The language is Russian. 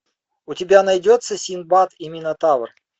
у тебя найдется синдбад и минотавр